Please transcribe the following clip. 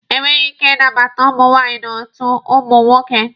E nweghi ike ị nabata ụmụ nwaanyị n'otu ụmụ nwoke.